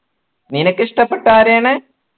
നിനക്കിഷ്ടപ്പെട്ട ആരെയാണ്